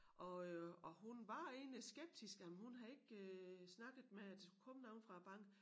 Og øh og hun var egentlig skeptisk jamen hun havde ikke øh snakket med at der skulle komme nogen fra æ bank